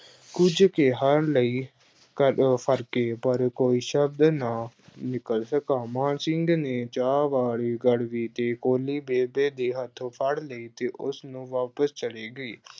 ਕੁੱਝ ਕਹਿਣ ਲਈ ਫਰਕੇ ਪਰ ਕੋਈ ਸ਼ਬਦ ਨਾ ਨਿਕਲ ਸਕਾ, ਮਾਨ ਸਿੰਘ ਨੇ ਚਾਹ ਵਾਲੀ ਗੜਬੀ ਤੇ ਕੌਲੀ ਬੇਬੇ ਦੇ ਹੱਥੋਂ ਫੜ ਲਈ ਤੇ ਉਹ ਵਾਪਿਸ ਚਲੀ ਗਈ।